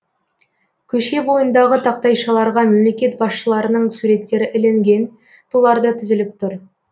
көше бойындағы тақтайшаларға мемлекет басшыларының суреттері ілінген тулар да тізіліп тұр